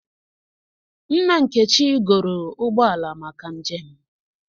Nna Nkechi goro ụgbọ ala maka njem